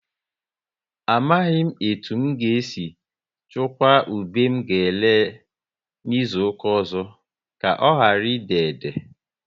Amaghị etu n ga e si chukwa ube m ga ere n'izuka ọzọ, ka ọ ghara ị déédé